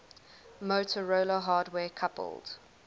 motorola hardware coupled